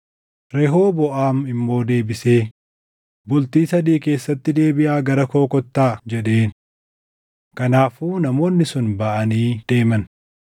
Rehooboʼaam immoo deebisee, “Bultii sadii keessatti deebiʼaa gara koo kottaa” jedheen. Kanaafuu namoonni sun baʼanii deeman.